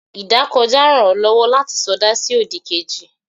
idakojá rán o lowo lati soda si odí kéjí